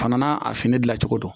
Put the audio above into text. Fana n'a a fini dilan cogo don